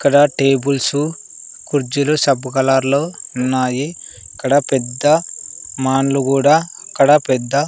ఇక్కడ టేబుల్స్ కుర్చీలు సబ్బు కలర్ లో ఉన్నాయి ఇక్కడ పెద్ద మాన్లూ కూడా ఇక్కడ పెద్ద.